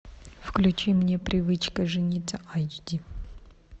включи мне привычка жениться айч ди